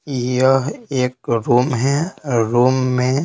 यह एक रूम है रूम में--